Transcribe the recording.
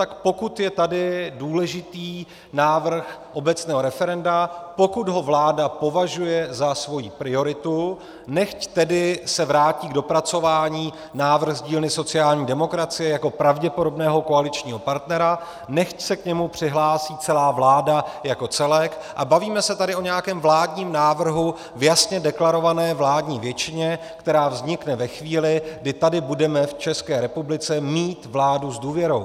Tak pokud je tady důležitý návrh obecného referenda, pokud ho vláda považuje za svoji prioritu, nechť tedy se vrátí k dopracování návrh z dílny sociální demokracie jako pravděpodobného koaličního partnera, nechť se k němu přihlásí celá vláda jako celek a bavíme se tady o nějakém vládním návrhu v jasně deklarované vládní většině, která vznikne ve chvíli, kdy tady budeme v České republice mít vládu s důvěrou.